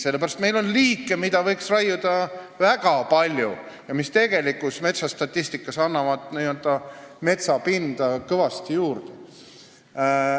Sellepärast et meil on liike, mida võiks raiuda väga palju ja mis tegelikus metsastatistikas annavad n-ö metsapinda kõvasti juurde.